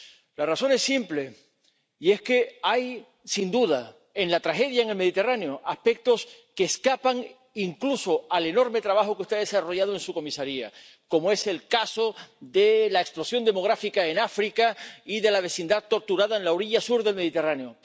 La razón es simple, y es que hay, sin duda, en la tragedia en el Mediterráneo, aspectos que escapan incluso al enorme trabajo que usted ha desarrollado en su comisaría, como es el caso de la explosión demográfica en África y de la vecindad torturada en la orilla sur del Mediterráneo.